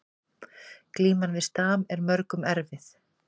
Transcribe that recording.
Glíman við stam er mörgum erfið